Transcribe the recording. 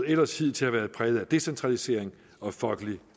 ellers hidtil har været præget af decentralisering og folkelig